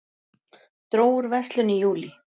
Dró úr verslun í júlí